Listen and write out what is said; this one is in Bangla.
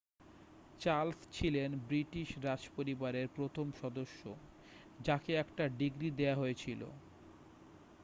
চার্লস ছিলেন ব্রিটিশ রাজ পরিবারের প্রথম সদস্য যাকে একটা ডিগ্রী দেওয়া হয়েছিল